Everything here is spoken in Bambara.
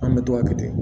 An bɛ to ka kɛ ten